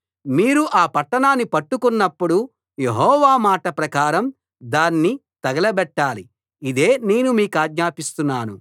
మీరు ఆ పట్టణాన్ని పట్టుకొన్నప్పుడు యెహోవా మాట ప్రకారం దాన్ని తగలబెట్టాలి ఇదే నేను మీకాజ్ఞాపిస్తున్నాను